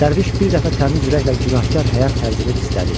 Dərviş bir dəfə təmiz ürəklə günahkar həyat tərzimi pislədi.